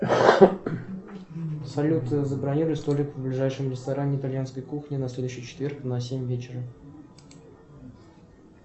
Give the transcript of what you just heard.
салют забронируй столик в ближайшем ресторане итальянской кухни на следующий четверг на семь вечера